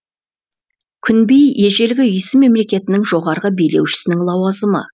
күнби ежелгі үйсін мемлекетінің жоғарғы билеушісінің лауазымы